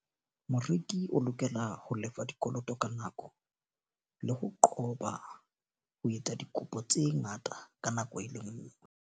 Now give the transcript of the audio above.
Moreki o lokela ho lefa dikoloto ka nako. Le ho qoba ho etsa dikopo tse ngata ka nako e le nngwe.